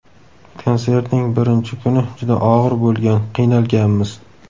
Konsertning birinchi kuni juda og‘ir bo‘lgan, qiynalganmiz.